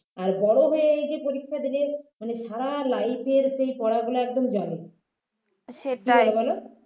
আর বড় হয়ে এই যে পরীক্ষা দিলে মানে সারা life এর সেই পড়াগুলো একদম জলে